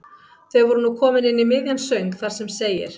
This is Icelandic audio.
Þau voru nú komin inn í miðjan söng þar sem segir